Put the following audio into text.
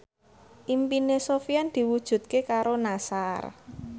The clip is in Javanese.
impine Sofyan diwujudke karo Nassar